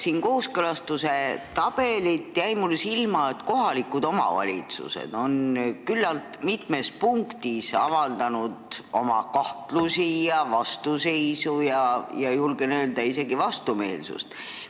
Lugedes kooskõlastuse tabelit, jäi mul silma, et kohalikud omavalitsused on küllaltki mitmes punktis avaldanud oma kahtlusi, vastuseisu ja, julgen öelda, isegi vastumeelsust.